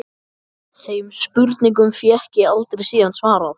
Þeim spurningum fékk ég aldrei síðan svarað.